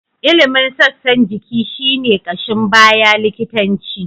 Ilimin sassan jiki shi ne ƙashin baya likitanci.